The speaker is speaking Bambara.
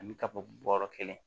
Ani ka fɔ bɔrɔ kelen